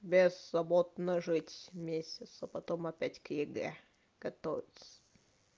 беззаботно жить месяц а потом опять к егэ готовиться